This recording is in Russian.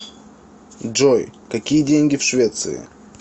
джой какие деньги в швеции